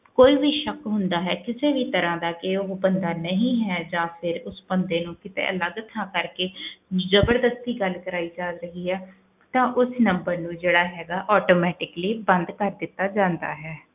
ਕੋਈ ਵੀ ਸ਼ੱਕ ਹੁੰਦਾ ਹੈ, ਕਿਸੇ ਵੀ ਤਰ੍ਹਾਂ ਦਾ ਕਿ ਉਹ ਬੰਦਾ ਨਹੀਂ ਹੈ ਜਾਂ ਫਿਰ ਉਸ ਬੰਦੇ ਨੂੰ ਕਿਤੇ ਅਲੱਗ ਥਾਂ ਕਰਕੇ ਜ਼ਬਰਦਸਤੀ ਗੱਲ ਕਰਵਾਈ ਜਾ ਰਹੀ ਹੈ ਤਾਂ ਉਸ number ਨੂੰ ਜਿਹੜਾ ਹੈਗਾ automatically ਬੰਦ ਕਰ ਦਿੱਤਾ ਜਾਂਦਾ ਹੈ।